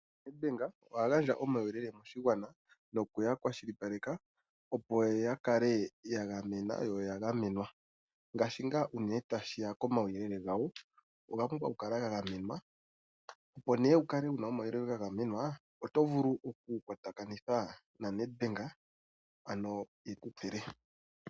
Nedbank oha gandja omauyelele moshigwana, noku ya kwashilipaleka, opo ya kale ya gamena yo ya gamenwa, ngaashi ngaa unene tashi ya komauyelele gawo, oga pumbwa okukala ga gamenwa. Opo nduno wu kale wu na omauyelele ga gamenwa, oto vulu okukwatakanitha naNedbank, ano e ku pule.